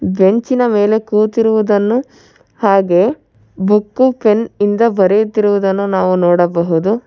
ಬೆಂಚಿನ ಮೇಲೆ ಕೂತಿರುವುದನ್ನು ಹಾಗೆ ಬುಕ್ಕು ಪೆನ್ನು ಇಂದ ಬರೆಯುತ್ತಿರುವುದನ್ನು ನಾವು ನೋಡಬಹುದು.